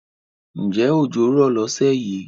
Ǹjẹ́ ọjọ́ rò lọ́sẹ̀ yìí?